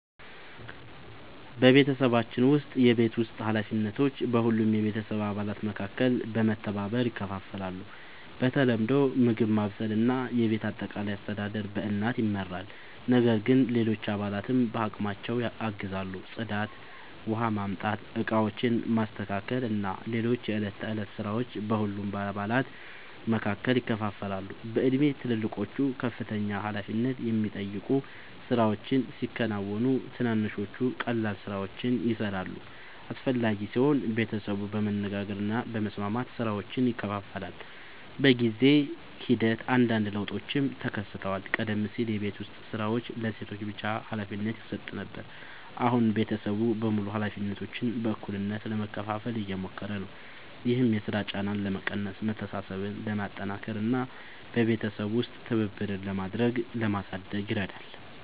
በቤተሰባችን ውስጥ የቤት ውስጥ ኃላፊነቶች በሁሉም የቤተሰብ አባላት መካከል በመተባበር ይከፋፈላሉ። በተለምዶ ምግብ ማብሰል እና የቤት አጠቃላይ አስተዳደር በእናት ይመራል፣ ነገር ግን ሌሎች አባላትም በአቅማቸው ያግዛሉ። ጽዳት፣ ውኃ ማምጣት፣ ዕቃዎችን ማስተካከል እና ሌሎች የዕለት ተዕለት ሥራዎች በሁሉም አባላት መካከል ይከፋፈላሉ። በእድሜ ትልልቆቹ ከፍተኛ ኃላፊነት የሚጠይቁ ሥራዎችን ሲያከናውኑ፣ ትንንሾቹ ቀላል ሥራዎችን ይሠራሉ። አስፈላጊ ሲሆን ቤተሰቡ በመነጋገር እና በመስማማት ሥራዎችን ይከፋፍላል። በጊዜ ሂደት አንዳንድ ለውጦችም ተከስተዋል። ቀደም ሲል የቤት ዉስጥ ሥራዎች ለሴቶች ብቻ ሀላፊነት ይሰጥ ነበር፣ አሁን ቤተሰቡ በሙሉ ኃላፊነቶችን በእኩልነት ለመካፈል እየሞከሩ ነው። ይህም የሥራ ጫናን ለመቀነስ፣ መተሳሰብን ለማጠናከር እና በቤተሰብ ውስጥ ትብብርን ለማሳደግ ይረዳል።